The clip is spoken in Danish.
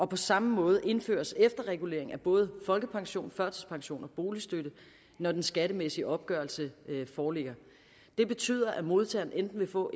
på samme måde indføres efterregulering af både folkepension førtidspension og boligstøtte når den skattemæssige opgørelse foreligger det betyder at modtageren enten vil få